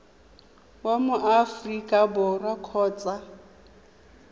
wa mo aforika borwa kgotsa